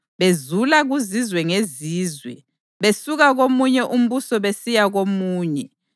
bezula kuzizwe ngezizwe besuka komunye umbuso besiya komunye.